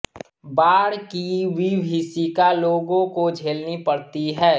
बाढ़ की विभीषिका लोगों को झेलनी पड़ती है